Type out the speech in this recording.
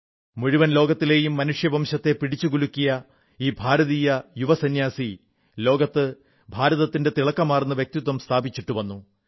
മുഴുവൻ ലോകത്തിലെയും മനുഷ്യവംശത്തെ പിടിച്ചുകുലുക്കിയ ഈ ഭാരതീയ യുവ സംന്യാസി ലോകത്ത് ഭാരതത്തിന്റെ തിളക്കമാർന്ന വ്യക്തിത്വം സ്ഥാപിച്ചിട്ടു വന്നു